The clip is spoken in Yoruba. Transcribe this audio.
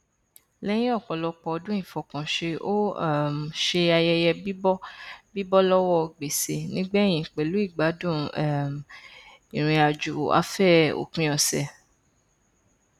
lẹyìn ọpọlọpọ ọdún ìfọkànṣe ó um ṣe ayẹyẹ bíbọ bíbọ lọwọ gbèsè nígbẹyìn pẹlú ìgbádùn um ìrìnàjòafẹ òpin ọsẹ